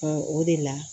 o de la